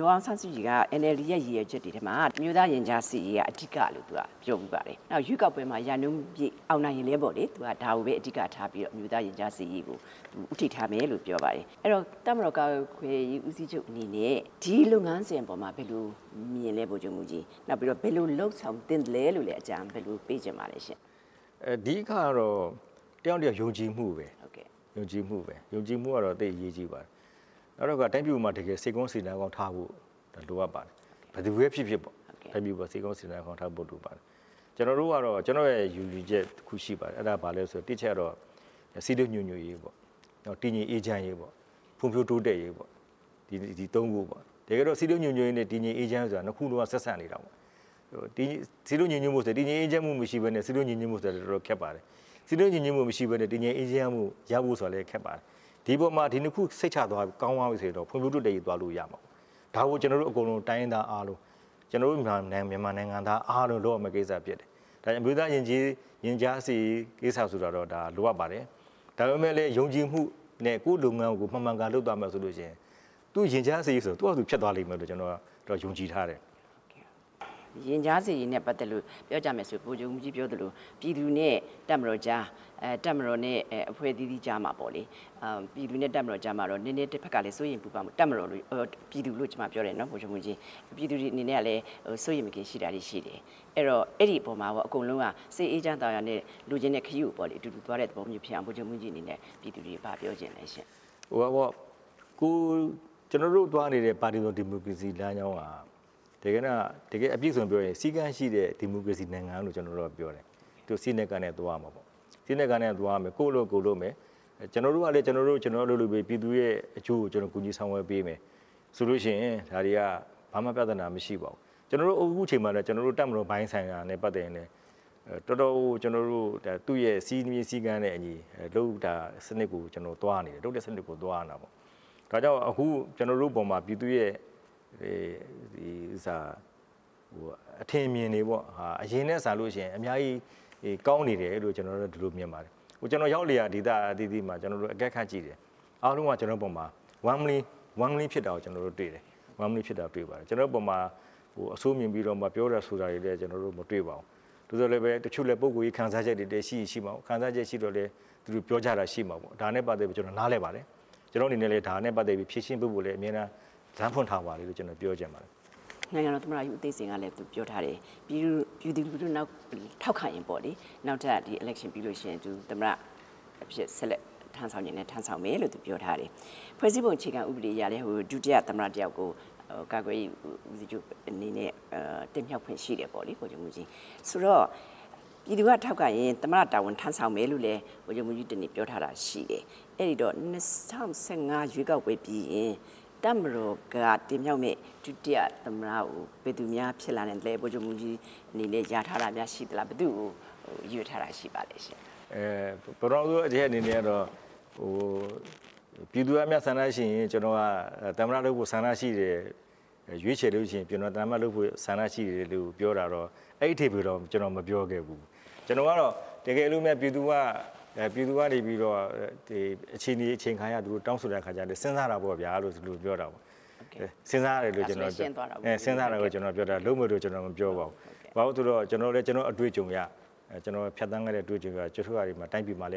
ဒေါ်အောင်ဆန်းစုကြည်က NLD ရဲ့ ရည်ရွယ်ချက်တွေထဲမှာ အမျိုးသားရင်ကြားစေ့ရေးက အဓိကလို့ပြောဖူး ပါတယ်။နောက်ရွေးကောက်ပွဲမှာ ရာနှုန်းပြည့်အောင်နိုင်ရင်လည်း ဒါကိုပဲ အဓိကထားပြီးတော့ အမျိုးသား ရင်ကြားစေ့ရေးကို သူဦးထိပ်ထားမယ်လို့ သူကပြောပါတယ် အဲ့တော့ တပ်မတော်ကာကွယ်ရေးဦးစီးချုပ်အနေနဲ့ ဒီလုပ်ငန်းစဉ်အပေါ်မှာ ဘယ်လိုမြင်လဲပေါ့။ နောက်ပြီး ဘယ်လိုလုပ်ဆောင်သင့်သလဲလို့လည်း အကြံဘယ်လိုပေး ချင်ပါသလဲရှင့်။ အဓိကကတော့ တစ်ယောက်နဲ့တစ်ယောက် ယုံကြည်မှုပဲ။ ယုံကြည်မှုကတော့ သိပ်အရေးကြီးတယ်။ နောက်တစ်ခုက တိုင်းပြည်ပေါ်မှာ တကယ်စိတ်ကောင်းစေတနာကောင်းထားဖို့ လိုအပ်ပါတယ်။ ဘယ်သူပဲဖြစ်ဖြစ်ပေါ့ တိုင်းပြည်ပေါ်မှာ စိတ်ကောင်းစေတနာကောင်းထားဖို့ပဲလိုပါတယ်။ ကျနော်ရဲ့ယုံကြည်ချက်တစ်ခုရှိပါတယ်။ အဲ့ဒါကဘာလဲဆိုရင် တစ်အချက်ကတော့ စည်းလုံးညီညွတ်ရေးပေါ့။ တည်ငြိမ်အေးချမ်းရေးပေါ့၊ ဖွံ့ဖြိုးတိုးတက်ရေးပေါ့။ ဒီသုံးခုပေါ့။ တကယ်တော့ စည်းလုံးညီညွတ်ရေးနဲ့ တည်ငြိမ်အေးချမ်းရေးဟာ နှစ်ခုလုံးကဆက်စပ်နေတာပေါ့။ တည်ငြိမ်အေးချမ်းမှုမရှိဘဲနဲ့ စည်းလုံးညီညွတ်မှုဆိုတာ တော်တော်ခက်ပါတယ်။ စည်းလုံးညီညွတ်မှုမရှိဘဲနဲ့ တည်ငြိမ်အေးချမ်းရေးရဖို့ ဆိုတာကလည်းခက်ပါတယ်။ ဒီအပေါ်မှာ ဒီနှစ်ခုစိတ်ချရပြီး ကောင်းသွားပြီဆိုရင်တော့ ဖွံ့ဖြိုးတိုးတက်ရေးသွားလို့ရပြီပေါ့။ ဒါကိုကျနော်တို့အကုန်လုံး တိုင်းရင်းသားအားလုံး မြန်မာနိုင်ငံသားအားလုံးလုပ်ရမယ့်ကိစ္စဖြစ်တယ်။ အမျိုးသားရင်ကြားစေ့ရေးကိစ္စ ဆိုတာတော့လိုအပ်ပါတယ်။ ဒါပေမယ့်လည်း ယုံကြည်မှုနဲ့ ကိုယ့်လုပ်ငန်းကို မှန်မှန်ကန်ကန်လုပ်သွားမယ်ဆိုလို့ရှိရင် သူ့ရင်ကြားစေ့ရေးဆိုတာ သူ့ဘာသာဖြစ်သွားမယ်လို့ ကျနော်တော့ယုံကြည်ထားတယ်။ ရင်ကြားစေ့ရေးနဲ့ ပတ်သက်လို့ ပြောကြမယ်ဆိုရင် ဗိုလ်ချုပ်မှူးကြီးပြောသလို ပြည်သူနဲ့တပ်မတော်ကြား တပ်မတော်နဲ့ အဖွဲ့အသီးသီးကြားမှာပေါ့လေ ပြည်သူတွေအနေနဲ့ စိုးရိမ်မကင်းရှိတာတွေရှိတယ်။ အဲ့တော့ အဲ့ဒီအပေါ်မှာ အကုန်လုံးက စိတ်အေးချမ်းသာယာနဲ့ လိုချင်တဲ့ခရီးကိုတူတူသွားတဲ့ သဘောမျိုးဖြစ်အောင် ဗိုလ်ချုပ်မှူးကြီးအနေနဲ့ ပြည်သူတွေကို ဘာပြောချင်သလဲ။ ကျနော်တို့သွားနေတဲ့ ပါတီစုံဒီစုံဒီမိုကရေစီလမ်းကြောင်းက တကယ်တန်းအပြည့်အစုံပြောရင် စည်းကမ်းရှိတဲ့ဒီမိုကရေစီနိုင်ငံလို့ ကျနော်တို့ကပြောတယ်။ သူ့စည်းနဲ့ကမ်းနဲ့သွားမယ်။ ကိုယ့်အလုပ်ကိုယ်လုပ်မယ်။ ကျနော်တို့ကလည်း ကျနော်တို့အလုပ်ကျနော်တို့လုပ်ပြီး ပြည်သူတွေရဲ့အကျိုးကို ကျနော်တို့ ကူညီဆောင်ရွက်ပေးမယ်ဆိုလို့ရှိရင် ဒါတွေဟာ ဘာမှပြသနာမရှိပါဘူး။ ကျနော်တို့ အခုချိန်မှာတော့ ကျနော်တို့ တပ်မတော်ပိုင်းဆိုင်ရာနဲ့ ပတ်သက်ရင်လည်း တော်တော်ကိုကျနော်တို့ သူ့ရဲ့ စည်းမျဉ်းစည်းကမ်းနဲ့အညီလုပ်တဲ့စနစ်ကို ကျနော်တို့သွားနေတယ်။ အခု ကျနော်တို့ရဲ့ပေါ်မှာ ပြည်သူရဲ့ အထင်အမြင်တွေက အရင်ထက်စာလို့ရှိရင် အများကြီးကောင်းနေတယ်လို့ ကျနော်တော့ဒီလိုမြင်ပါတယ်။ ကျနော်တို့ရောက်လေရာ ဒေသအသီးသီးမှာ ကျနော်တို့ အကဲခတ်ကြည့်တယ်။ အားလုံးက ကျနော်တို့အပေါ်မှာ warmly ဖြစ်တာတွေ့ပါတယ်။ ကျနော်တို့ပေါ်မှာ အဆိုးမြင်ပြီးတော့မှာပြောတာဆိုတွေလည်း ကျနော်တို့ မတွေ့ပါဘူး။ သို့သော်လည်းပဲ တချို့လည်း ပုဂ္ဂိုလ်ရေးခံစားချက်တွေလည်းရှိရင်ရှိမှာပေါ့။ ခံစားချက်ရှိတော့လည်း ပြောကြတာတွေရှိမှာပေါ့။ ဒါနဲ့ ပတ်သက်ပြီး ကျနော့်အနေနဲ့ နားလည်ပါတယ်။ ဒါနဲ့ပတ်သက်ပြီး ဖြေရှင်းပေးဖို့လည်း အမြဲတမ်းလမ်းဖွင့်ထားပါတယ်လို့ ကျနော်ပြောချင်ပါတယ်။ နိုင်ငံတော်သမ္မတ ဦးသိန်းစိန်ကလည်း ပြောထားတယ်၊ ပြည်သူလူထုထောက်ခံရင် နောက်ထပ် Election ပြီးလို့ရှိရင် သမ္မတအဖြစ် ဆက်လက်ထမ်းဆောင်ချင်လည်း ထမ်းဆောင်မယ်လို့ သူပြောထားတယ်။ ဖွဲ့စည်းပုံအခြေခံဥပဒေအရလည်း ဒုတိယသမ္မတတစ်ယောက်ကို ကာကွယ်ရေးဦးစီးချုပ်အနေဲ့ တင်မြှောက်ခွင့်ရှိတယ်ပေါ့လေ။ ဆိုတော့ ပြည်သူကထောက်ခံရင် သမ္မတတာဝန်ထမ်းဆောင်မယ်လို့ ဗိုလ်ချုပ်မှူးကြီး ပြောထားတာရှိတယ်။ အဲ့တော့ ၂၀၁၅ရွေးကောက်ပွဲပြီးရင် တပ်မတော်ကတင်မြောက်မယ့် ဒုတိယသမ္မတကို ဘယ်သူများဖြစ်လာနိုင်မလဲ ဗိုလ်ချုပ်မှူးကြီးအနေနဲ့ လျာထားတာများရှိသလား။ ဘယ်သူ့ကိုရွေးထားတာရှိသလဲရှင့်။ ပထမဆုံးတစ်ချက်အနေနဲ့ ပြည်သူကဆန္ဒရှိရင် ကျနော်ကသမ္မတလုပ်ဖို့ ဆန္ဒရှိတယ်လို့ ရွေးချယ်လို့ရှိရင် ကျနော်သမ္မတလုပ်ဖို့ ဆန္ဒရှိတယ်လို့ပြောတာတော့ အဲ့ဒီအဓိပ္ပာယ်မျိုး ကျနော်မပြောခဲ့ဘူး။ ကျနော်ကတော့ တကယ်လို့ ပြည်သူကနေပြီးတော့ အခြေနေအချိန်ခါအရ တောင်းဆိုတဲ့ ခါကျတော့ စဉ်းစားတာပေါ့ဗျာလို့ ဒီလိုပြောခဲ့တာ။ စဉ်းစားတယ်လို့ ကျနော်က ပြောတာ လုပ်မယ်လို့ ကျနော်ပြောတာမဟုတ်ပါဘူး။ ဘာဖြစ်လို့လဲဆိုရင် ကျနော်လည်း ကျနော့်အတွ့အကြုံအရ တိုင်းပြည်မှာ